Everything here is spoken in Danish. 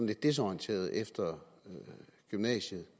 lidt desorienterede efter gymnasiet